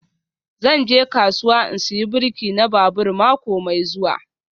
Zan je kasuwa in saya birki na babur mako mai zuwa